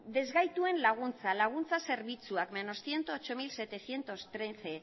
ezgaituen laguntza laguntza zerbitzuak ehun eta zortzi mila zazpiehun eta hamairu